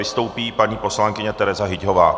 Vystoupí paní poslankyně Tereza Hyťhová.